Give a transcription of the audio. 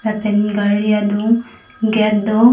lapen gari adun gate do.